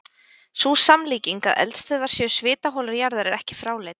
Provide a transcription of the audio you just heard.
Sú samlíking að eldstöðvar séu svitaholur jarðar er ekki fráleit.